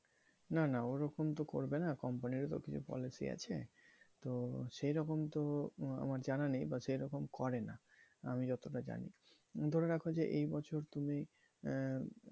না না ওরকম তো করবে না company র ও তো কিছু policy আছে তো সেরকম তো আমার জানা নেই বা সেরকম করে না আমি যতটা জানি ধরে রাখো যে এই বছর তুমি আহ